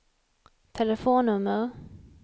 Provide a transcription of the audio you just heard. telefonnummer